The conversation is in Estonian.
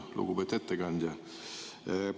Lugupeetud ettekandja!